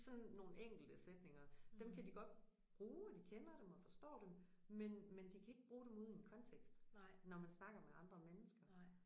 Sådan nogen enkelte sætninger dem kan de godt bruge og de kender dem og forstår dem men men de kan ikke bruge dem ude i en kontekst når man snakker med andre mennesker